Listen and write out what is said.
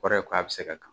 Kɔrɔ ye ko a bɛ se ka kan